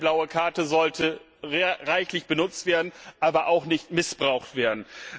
Insofern Die blaue Karte sollte zwar reichlich benutzt, aber auch nicht missbraucht werden.